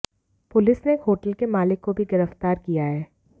police ने एक hotel के मालिक को भी गिरफ्तार किया है